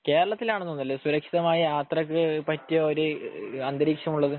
കേരളത്തിൽ ആണെന്ന് തോനുന്നല്ലെ സുരക്ഷിതമായ യാത്രക്ക് പറ്റിയ ഒരു അന്തരീക്ഷം ഉള്ളത്